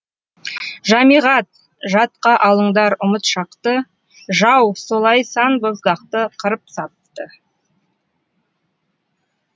жамиғат жадқа алыңдар ұмыт шақты жау солай сан боздақты қырып сапты